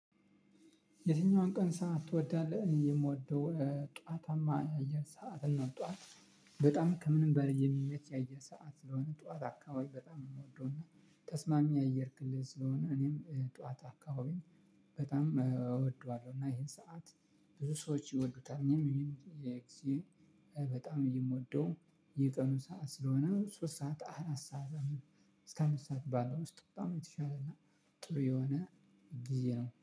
የትኛውን ቀን ሰዓት ትወዳለህ? እኔ የምወደው ጠዋታማ የአየር ሰዓት ነው። ጠዋት በጣም ከምንም በላይ የሚመች የአየር ሰዓት ስለሆነ ጠዋት አካባቢ በጣም ነው የምወደው። እና ተስማሚ አየር ክልል ስለሆነ እኔም ጠዋት አካባቢን በጣም እወደዋለሁ። እና ይሄን ሰዓት ብዙ ሰዎች ይወዱታል። እኔም በጣም የምወደው የቀኑ ሰዓት ስለሆነ ሶስት ሰዓት አራት ሰዓት እስከ አምስት ሰዓት ባለው ውስጥ በጣም የተሻለ እና ጥሩ የሆነ ግዜ ነው